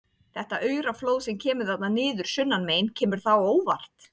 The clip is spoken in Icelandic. Þetta aurflóð sem kemur þarna niður sunnanmegin, kemur það á óvart?